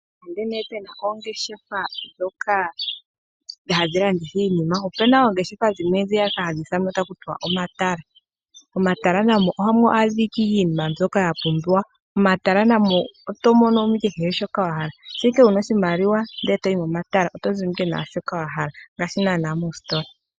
Nande nee pe na oongeshefa hoka hadhi landitha iinima, opu na oongeshefa dhimwe ndhiya ka hadhi ithanwa taku tiwa omatala. Momatala na mo ohamu adhika iinima mbyoka ya pumbiwa. Momatala na mo oto mono mo ike kehe shoka wa hala. Shampa ashike wu na oshimaliwa, ndele to yi momatala oto zi mo owala naa shoka wa hala ngaashi naanaa moositla.